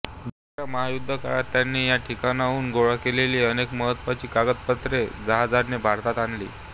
दुसऱ्या महायुद्धकाळात त्यांनी या ठिकाणाहून गोळा केलेली अनेक महत्वाची कागदपत्रे जहाजाने भारतात आणली